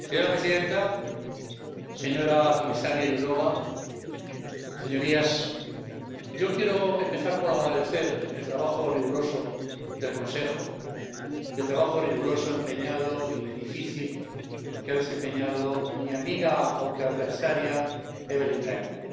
Señora presidenta, comisaria Jourová, señorías, yo quiero empezar por agradecer el trabajo riguroso del Consejo y el trabajo riguroso, empeñado y difícil que ha desempeñado mi amiga, aunque adversaria, Evelyn Regner.